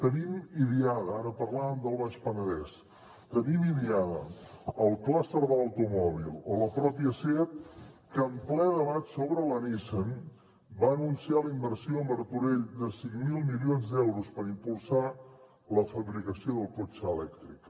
tenim idiada ara parlàvem del baix penedès el clúster de l’automòbil o la mateixa seat que en ple debat sobre la nissan va anunciar la inversió a martorell de cinc mil milions d’euros per impulsar la fabricació del cotxe elèctric